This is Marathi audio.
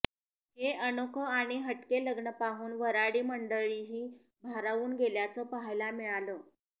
हे अनोखं आणि हटके लग्न पाहून वऱ्हाडी मंडळीही भारावून गेल्याचं पाहायला मिळालं